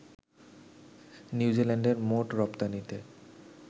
নিউজিল্যান্ডের মোট রপ্তানিতে